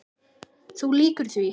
Þú lýgur því